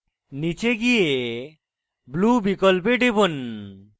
নীচে গিয়ে blue বিকল্পে টিপুন